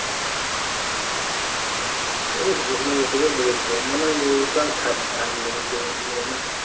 ওই ভাগ্নি হিসাবেই দিয়েছে মানে ও তো আর ধার, ধার নেবে না।